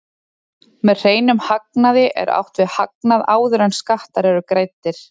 Með hreinum hagnaði er átt við hagnað áður en skattar eru greiddir.